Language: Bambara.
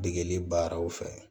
Degeli baaraw fɛ